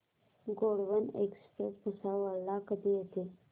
Gondwana express Bhusawal ला कधी येते